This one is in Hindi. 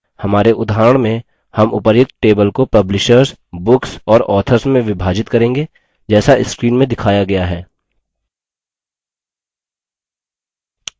हमारे उदाहरण में हम उपर्युक्त table को publishers books और authors में विभाजित करेंगे जैसा screen में दिखाया गया है